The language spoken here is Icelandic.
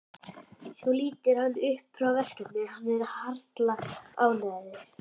Svo lítur hann upp frá verkinu og er harla ánægður.